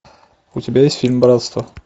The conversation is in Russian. у тебя есть фильм братство